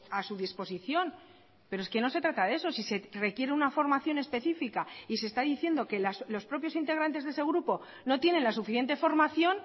a su disposición pero es que no se trata de eso si se requiere una formación específica y se está diciendo que los propios integrantes de ese grupo no tienen la suficiente formación